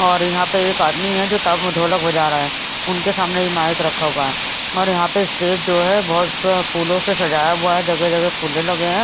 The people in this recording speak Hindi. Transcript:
और यहां पे एक आदमी है जो ताबू ढोलक बजा रहा है उनके सामने एक माइक रखा हुआ है और यहां पे स्टेज जो है बहुत से फूलों से सजाया हुआ है जगह जगह फूले लगे हैं।